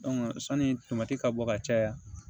sanni ka bɔ ka caya